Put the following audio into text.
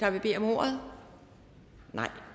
der vil bede om ordet nej